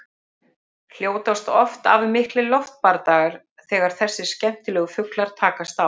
Hljótast oft af miklir loftbardagar þegar þessir skemmtilegu fuglar takast á.